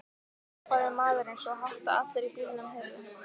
hrópaði maðurinn svo hátt að allir í bílnum heyrðu.